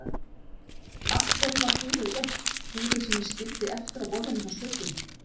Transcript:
Af hverju var búrið autt, búrið sem ég skildi eftir á borðinu hjá speglinum?